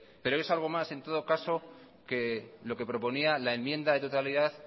pero es algo más en todo caso que lo que proponía la enmienda de totalidad